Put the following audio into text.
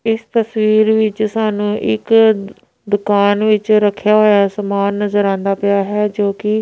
ਇਸ ਤਸਵੀਰ ਵਿੱਚ ਸਾਨੂੰ ਇੱਕ ਦੁਕਾਨ ਵਿੱਚ ਰੱਖਿਆ ਹੋਇਆ ਸਮਾਨ ਨਜ਼ਰ ਆਉਂਦਾ ਪਿਆ ਹੈ ਜੋ ਕਿ--